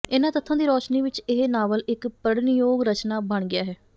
ਇਨ੍ਹਾਂ ਤੱਥਾਂ ਦੀ ਰੌਸ਼ਨੀ ਵਿਚ ਇਹ ਨਾਵਲ ਇਕ ਪੜ੍ਹਨਯੋਗ ਰਚਨਾ ਬਣ ਗਿਆ ਹੈ